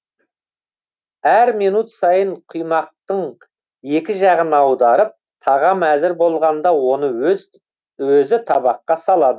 әр минут сайын құймақтың екі жағын аударып тағам әзір болғанда оны өзі табаққа салады